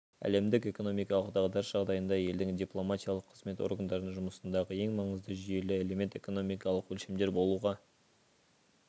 әлемдік экономикалық дағдарыс жағдайында елдің дипломатиялық қызмет органдарының жұмысындағы ең маңызды жүйелі элемент экономикалық өлшемдер болуға